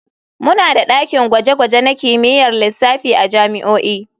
Muna da dakin gwaje-gwaje na kimiyyar lissafi a jami'o'i.